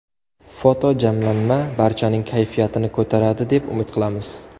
Fotojamlanma barchaning kayfiyatini ko‘taradi deb umid qilamiz.